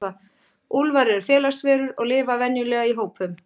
Úlfar eru félagsverur og lifa venjulega í hópum.